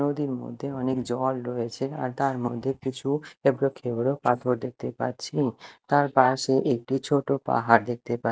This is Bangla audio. নদীর মধ্যে অনেক জল রয়েছে আর তার মধ্যে কিছু এবড়ো খেবড়ো পাথর দেখতে পাচ্ছি তার পাশে একটি ছোট পাহাড় দেখতে পা--